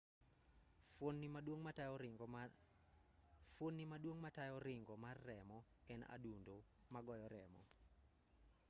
fuoni maduong' matayo ringo mar remo en adundo magoyo remo